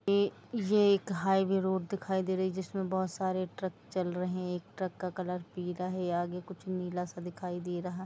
ये एक highway road दिखाई दे रही है जिसमें बहुत सारे ट्रक चल रहे हैं एक ट्रक का कलर पिला है आगे कुछ नीला सा दिखाई दे रहा है।